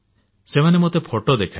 ସେମାନେ ମୋତେ ଫଟୋ ଦେଖାଇଲେ